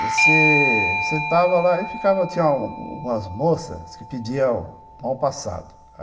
Você sentava lá e ficava, tinha umas moças que pediam mal passado.